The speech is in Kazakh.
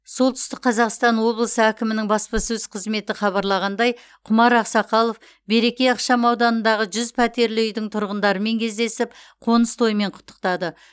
солтүстік қазақстан облысы әкімінің баспасөз қызметі хабарлағандай құмар ақсақалов береке ықшамауданындағы жүз пәтерлі үйдің тұрғындарымен кездесіп қоныс тоймен құттықтады